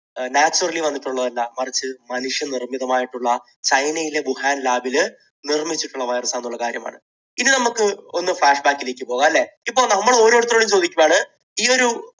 naturally വന്നിട്ടുള്ളതല്ല, മറിച്ച് മനുഷ്യനിർമ്മിതമായിട്ടുള്ള, ചൈനയിലെ വുഹാൻ ലാബിൽ നിർമ്മിച്ചിട്ടുള്ള virus ആണെന്നുള്ള കാര്യമാണ്. ഇനി നമുക്ക് ഒന്ന് flash back ലേക്ക് പോകാം, അല്ലേ? ഇപ്പോൾ നമ്മൾ ഓരോരുത്തരോടും ചോദിക്കുകയാണ്, ഈ ഒരു